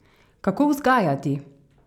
Kako vzgajati?